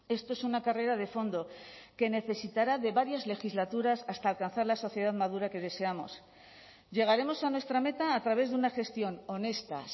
esto es una carrera de fondo que necesitará de varias legislaturas hasta alcanzar la sociedad madura que deseamos llegaremos a nuestra meta a través de una gestión honesta